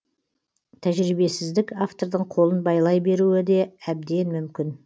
тәжірибесіздік автордың қолын байлай беруі де әбден мүмкін